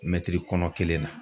Mɛtiri kɔnɔ kelen na